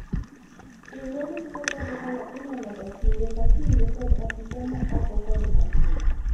riwruog kungo kod hola inono ga kinde ka kinde kod apisa ma oko kod ma iye